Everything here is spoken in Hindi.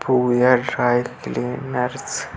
फूल या ड्राई क्लीनेस --